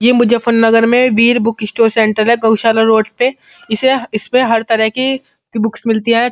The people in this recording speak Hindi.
ये मुजफ्फरनगर में वीर बुक स्टोर सेंटर है। गौशाला रोड पे । इसे इसपे हर तरह की बुक्स मिलती है।